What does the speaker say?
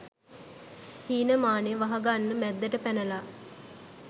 හීනමානෙ වහගන්න මැද්දට පැනල